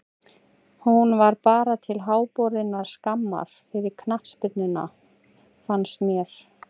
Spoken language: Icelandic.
Hún var bara til háborinnar skammar fyrir knattspyrnuna fannst mér.